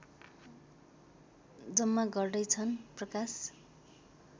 जम्मा गर्दैछन् प्रकाश